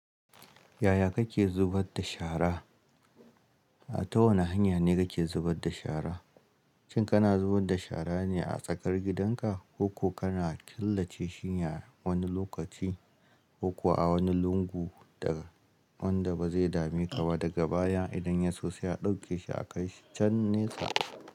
Yaya kake zubar da shara? Ta wani hanya ne kake zubar da shara? Shin kana zubar da shara ne a tsakar gidanka, ko kana killace shi a wani lokaci ko a wani lungu wanda ba zai dame ka ba daga baya idan ya so sai a ɗauke shi a can nesa?